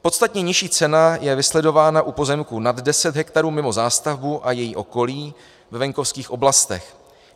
Podstatně nižší cena je vysledována u pozemků nad 10 hektarů mimo zástavbu a její okolí ve venkovských oblastech.